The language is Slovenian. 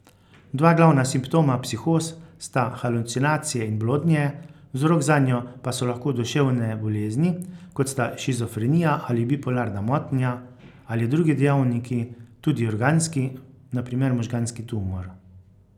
Dva glavna simptoma psihoz sta halucinacije in blodnje, vzrok zanjo pa so lahko duševne bolezni, kot sta shizofrenija ali bipolarna motnja, ali drugi dejavniki, tudi organski, na primer možganski tumor.